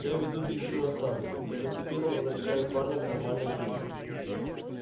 я веду длительную осаду и постепенно возвращаю парня к нормальной жизни